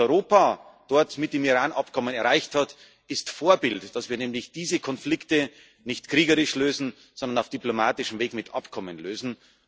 Was Europa dort mit dem Iran Abkommen erreicht hat, ist Vorbild, dass wir nämlich diese Konflikte nicht kriegerisch, sondern auf diplomatischem Weg mit Abkommen lösen.